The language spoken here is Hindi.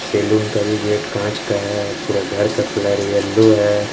सैलून का भी गेट कांच का है पूरा घर का कलर येलो है।